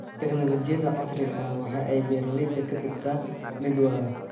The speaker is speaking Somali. Tignoolajiyada casriga ahi waxa ay beeralayda ka dhigtaa mid waara.